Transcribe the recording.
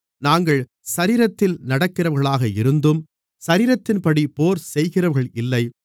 நாங்கள் சரீரத்தில் நடக்கிறவர்களாக இருந்தும் சரீரத்தின்படி போர் செய்கிறவர்கள் இல்லை